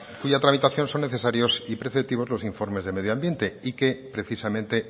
cuya tramitación son necesarios y preceptivos los informes de medio ambiente y que precisamente